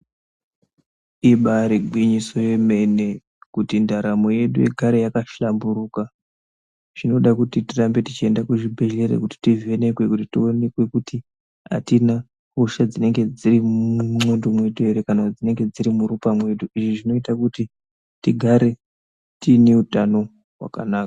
Ibaari gwinyiso yemene kuti ndaramo yedu igare yakahlamburuka zvinoda kuti tirambe tichienda kuzvibhehlera kuti tivhinikwe kuti tionekwe kuti atina hosha dzinenge dziri mundxondo mwedu ere kana kuti dzinenge dziri mukati mwedu ere. lzvi zvinoite kuti tigare tiine utano hwakanaka.